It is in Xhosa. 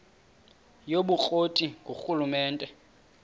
yobukro ti ngurhulumente